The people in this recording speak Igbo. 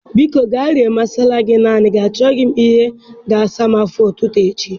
Biko, ga rie masala gị naanị gị, achọghị m ihe na asa m afọ ụtụtụ echi